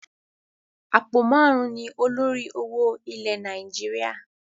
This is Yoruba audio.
Àpò máarun ni olórí owó ilẹ̀ Nàìjíríà.